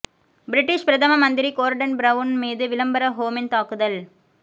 British பிரதம மந்திரி Gordon Brown மீது விளம்பர ஹோமின் தாக்குதல்